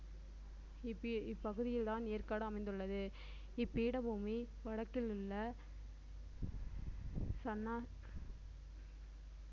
இப்பி~ இப்பகுதியில்தான் ஏற்காடு அமைந்துள்ளது இப்பீடபூமி வடக்கிலுள்ள